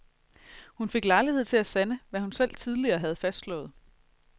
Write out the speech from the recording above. Hun fik lejlighed til at sande, hvad hun selv tidligere har fastslået.